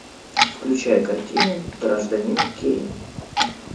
включай картину гражданин кейн